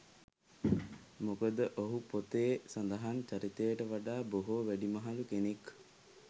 මොකද ඔහු පොතේ සඳහන් චරිතයට වඩා බොහෝ වැඩිමහලු කෙනෙක්.